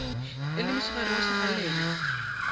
e le mosegare wa sekgalela